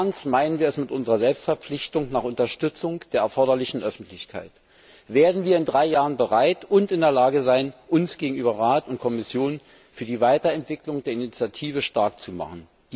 Wie ernst meinen wir es mit unserer Selbstverpflichtung zur Unterstützung der erforderlichen Öffentlichkeit? Werden wir in drei Jahren bereit und in der Lage sein, uns gegenüber Rat und Kommission für die Weiterentwicklung der Initiative stark zu machen?